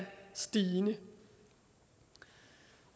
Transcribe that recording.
stigende